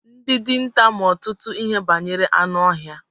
Ndị dinta ma ọtụtụ ihe banyere anụ ọhịa.